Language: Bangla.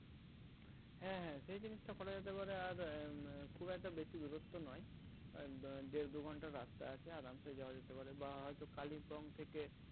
হ্যাঁ হ্যাঁ সে জিনিসটা করা যেতে পারে আর এর খুব একটা বেশি দূরত্ব নয় আহ দেড় দুই ঘন্টার রাস্তা আছে আরামসে যাওয়া যেতে পারে বা হয়তো Kalimpong থেকে